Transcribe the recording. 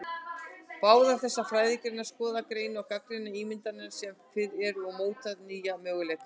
Báðar þessar fræðigreinar skoða, greina og gagnrýna ímyndirnar sem fyrir eru og móta nýja möguleika.